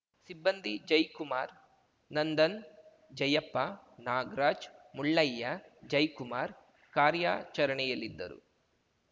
ಸಿಬ್ಬಂದಿ ಜಯ್ ಕುಮಾರ್‌ ನಂದನ್‌ ಜಯಪ್ಪ ನಾಗ್ರಾಜ್‌ ಮುಳ್ಳಯ್ಯ ಜಯ್ ಕುಮಾರ್‌ ಕಾರ್ಯಾಚರಣೆಯಲ್ಲಿದ್ದರು